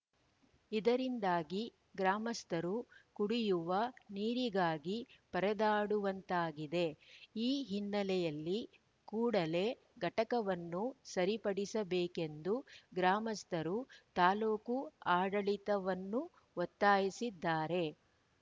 ಇದರಿಂದಾಗಿ ಗ್ರಾಮಸ್ಥರು ಕುಡಿಯುವ ನೀರಿಗಾಗಿ ಪರದಾಡುವಂತಾಗಿದೆ ಈ ಹಿನ್ನೆಲೆಯಲ್ಲಿ ಕೂಡಲೇ ಘಟಕವನ್ನು ಸರಿಪಡಿಸಬೇಕೆಂದು ಗ್ರಾಮಸ್ಥರು ತಾಲೂಕು ಆಡಳಿತವನ್ನು ಒತ್ತಾಯಿಸಿದ್ದಾರೆ